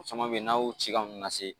O caman be yen n'a y'o ci ka nunnu lase